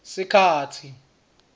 sikhatsi